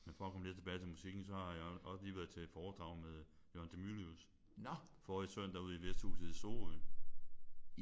Men for at komme lidt tilbage til musikken så har jeg også lige været til foredrag med Jørgen de Mylius forrige søndag ude i Vesthhuset i Sorø